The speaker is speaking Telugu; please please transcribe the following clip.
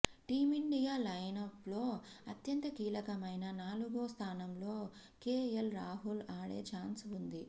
టీమిండియా లైనప్లో అత్యంత కీలకమైన నాలుగో స్థానంలో కేఎల్ రాహుల్ ఆడే చాన్స్ ఉంది